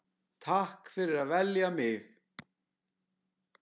Takk fyrir að velja mig.